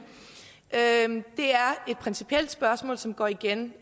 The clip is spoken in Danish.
det er et principielt spørgsmål som går igen